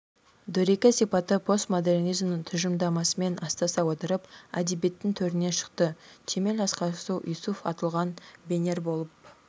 дөрекі сипаты постмодернизмнің тұжырымдамасымен астаса отырып әдебиеттің төріне шықты темел акарсу юсуф атылган бенер болып